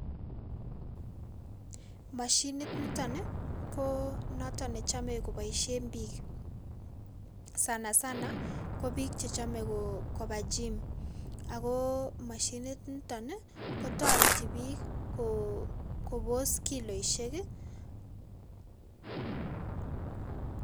Mashinit nitoni ko noto ne chame koboisie piik sanasana ko piik che chome koba gyme, ako mashinit nitoni kotoreti piik kobos kiloisiek ii.